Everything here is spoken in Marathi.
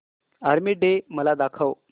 आर्मी डे मला दाखव